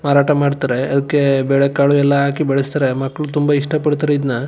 ಮಾರಾಟ ಮಾಡ್ತಾರೆ ಅವುಕ್ಕೆ ಬೇಳೆಕಾಳು ಎಲ್ಲಾ ಹಾಕಿ ಬೆಳಸತ್ತಾರೆ ಮಕ್ಕಳು ತುಂಬಾ ಇಷ್ಟ ಪಡ್ತಾರೆ ಇದ್ನ --